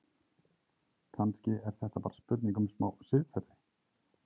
Kannski er þetta bara spurning um smá siðferði?